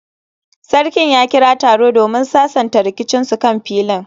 Sarkin ya kira taro domin sasanta rikicinsu kan filin